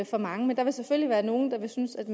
for mange men der vil selvfølgelig være nogle der vil synes at